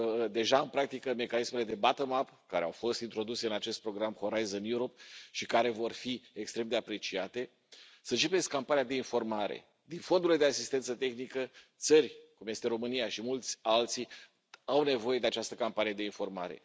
deja în practică mecanismele de bottom up care au fost introduse în acest program Horizon Europe și care vor fi extrem de apreciate, să începeți campania de informare din fondurile de asistență tehnică țări cum este România și mulți alții au nevoie de această campanie de informare.